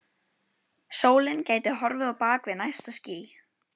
Sólin gæti horfið á bak við næsta ský.